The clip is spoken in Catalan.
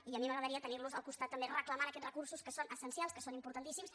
i a mi m’agradaria tenir los al costat també reclamant aquests recursos que són essencials que són importantíssims